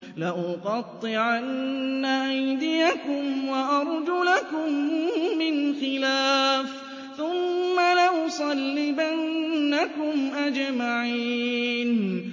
لَأُقَطِّعَنَّ أَيْدِيَكُمْ وَأَرْجُلَكُم مِّنْ خِلَافٍ ثُمَّ لَأُصَلِّبَنَّكُمْ أَجْمَعِينَ